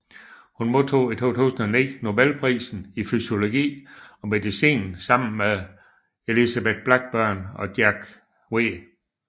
Hun modtog i 2009 Nobelprisen i fysiologi eller medicin sammen med Elizabeth Blackburn og Jack W